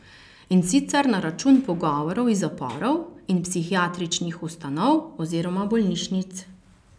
In sicer na račun pogovorov iz zaporov in psihiatričnih ustanov oziroma bolnišnic.